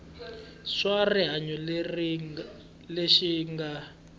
xa swa rihanyo lexi nga